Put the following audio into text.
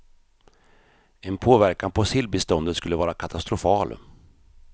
En påverkan på sillbeståndet skulle vara katastrofal.